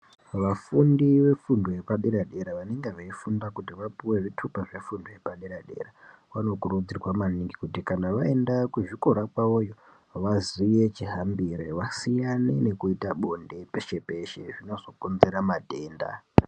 Vafundi vefundo yepadera dera vanenge veifunda kuti vapuwe zvitupa zvefundo yepadera dera vanokurudzirwa maningi kuti kqna vaenda kuzvikora kwavoyo ngqvaziye chihambirevasiyane nekuita bonde peshe peshe zvinozokonzera matenda.